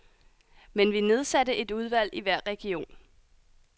Men vi nedsatte et udvalg i hver region.